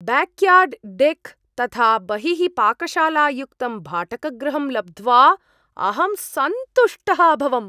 Backyard deck तथा बहिः पाकशालायुक्तं भाटकगृहं लब्ध्वा अहं सन्तुष्टः अभवम्।